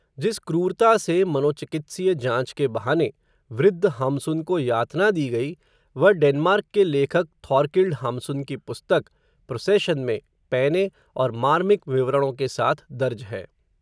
जिस क्रूरता से, मनोचिकित्सीय जाँच के बहाने, वृद्ध हाम्सुन को यातना दी गयी, वह डेनमार्क के लेखक, थॉरकिल्ड हाम्सुन की पुस्तक, प्रोसेशन में, पैने, और मार्मिक विवरणों के साथ दर्ज है